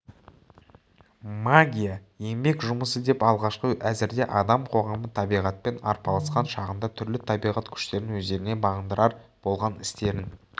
магия еңбек жұмысы деп алғашқы әзірде адам қоғамы табиғатпен арпалысқан шағында түрлі табиғат күштерін өздеріне бағындырар болған істерін